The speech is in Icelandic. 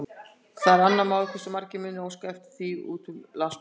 Það er svo annað mál, hversu margir mundu óska eftir því úti um landsbyggðina.